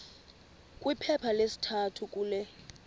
kwiphepha lesithathu kule